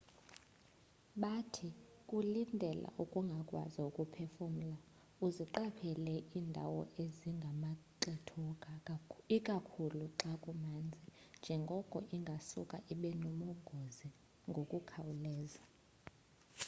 bathi kulindela ukungakwazi ukuphefumla uziqaphele indawo ezingamaxethuka ikakhulu xa kumanzi njengoko ingasuka ibenobungozi ngokukhawuleza